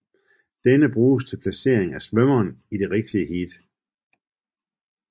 Denne bruges til placering af svømmeren i det rigtige heat